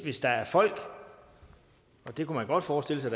hvis der er folk og det kunne man godt forestille sig